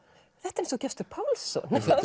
þetta er eins og Gestur Pálsson mjög